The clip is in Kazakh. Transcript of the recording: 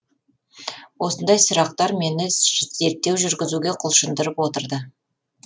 осындай сұрақтар мені зерттеу жүргізуге құлшындырып отырды